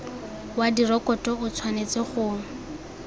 wa direkoto o tshwanetse go